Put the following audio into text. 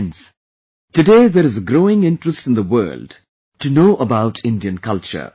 Friends, today there is a growing interest in the world to know about Indian culture